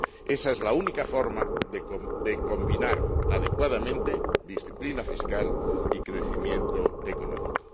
Esa es la única forma de combinar adecuadamente disciplina fiscal y crecimiento económico.